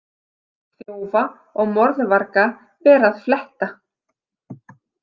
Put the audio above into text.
Þjófa og morðvarga ber að fletta.